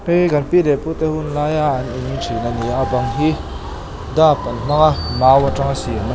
kan pi leh pute hun laia an in thin a ni a a bang hi dap an hmang an hmang a mai atanga siam a.